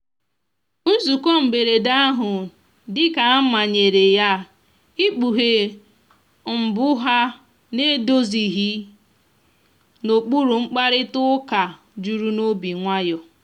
nzụko mgberede ahụ dika a manyere yaịkpughe mgbụ ha na‐edozilighi n'okpuru mkparịta uka juru n'obi nwayo.